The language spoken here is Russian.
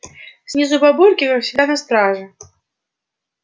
снизу бабульки как всегда на страже